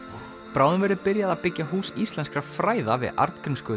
bráðum verður byrjað að byggja Hús íslenskra fræða við